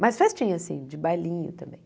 Mas festinha assim, de bailinho.